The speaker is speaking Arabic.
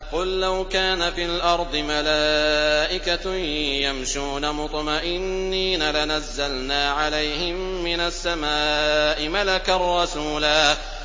قُل لَّوْ كَانَ فِي الْأَرْضِ مَلَائِكَةٌ يَمْشُونَ مُطْمَئِنِّينَ لَنَزَّلْنَا عَلَيْهِم مِّنَ السَّمَاءِ مَلَكًا رَّسُولًا